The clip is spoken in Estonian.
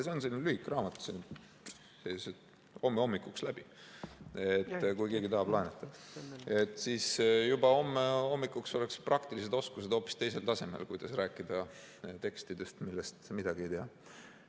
See on selline õhuke raamat, saab homme hommikuks läbi, kui keegi tahab laenata, siis juba homme hommikuks oleksid praktilised oskused hoopis teisel tasemel, kuidas rääkida tekstidest, millest midagi ei tea.